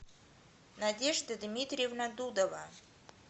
надежда дмитриевна дудова